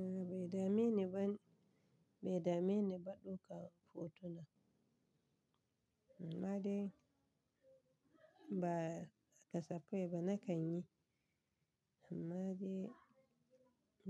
A'a bai dame ni ba, bai dame ni ba ɗaukan hotuna. Amma dai ba kasafai ba na kanyi, amma dai